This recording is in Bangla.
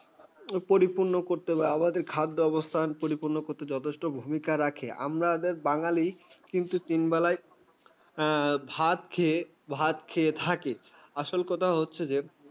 পরিপূর্ণ করতে হবে, আমাদের খাদ্য অবস্থান পরিপূর্ণ করতে যথেষ্ট ভূমিকা রাখে। আমরা আমাদের বাঙালি কিন্তু তিন বেলায়। হ্যাঁ, ভাত খেয়ে ভাত খেয়ে থাকে। আসল কথা হচ্ছে যে